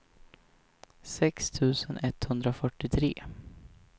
sex tusen etthundrafyrtiotre